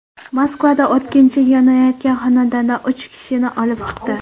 Moskvada o‘tkinchi yonayotgan xonadondan uch kishini olib chiqdi.